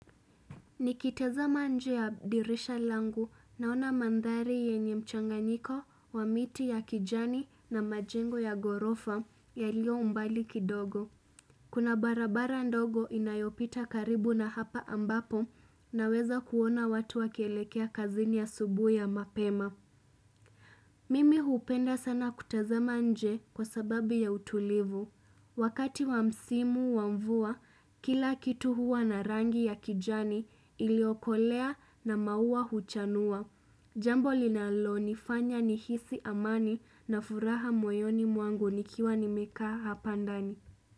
Nikitazama nje ya dirisha langu naona mandhari yenye mchanganyiko wa miti ya kijani na majengo ya ghorofa yaliyo mbali kidogo. Kuna barabara ndogo inayopita karibu na hapa ambapo naweza kuona watu wakielekea kazini asubuhi ya mapema. Mimi hupenda sana kutazama nje kwa sababu ya utulivu. Wakati wamsimu wa mvua, kila kitu huwa na rangi ya kijani iliokolea na maua huchanua. Jambo linalo nifanya nihisi amani na furaha moyoni mwangu nikiwa nimekaa hapa ndani.